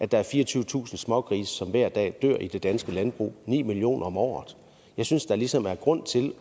der er fireogtyvetusind smågrise som hver dag dør i det danske landbrug ni millioner om året jeg synes der ligesom er grund til at